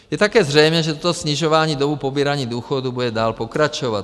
Je také zřejmé, že toto snižování doby pobírání důchodů bude dál pokračovat.